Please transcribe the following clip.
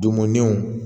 Donmo ɲɛw